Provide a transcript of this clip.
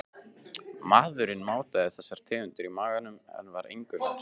Maðurinn mátaði þessar tegundir í maganum en var engu nær.